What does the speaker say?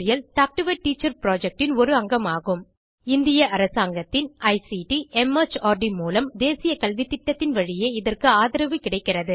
talk to a teacher projectன் ஒரு அங்கமாகும் இந்திய அரசாங்கத்தின் ஐசிடி மார்ட் மூலம் தேசிய கல்வித்திட்டத்தின் வழியே இதற்கு ஆதரவு கிடைக்கிறது